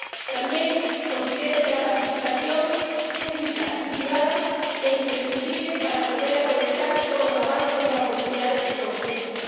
También considero que la participación pública y privada es imprescindible para poder aprovechar todos los avances y las oportunidades que se nos ofrecen.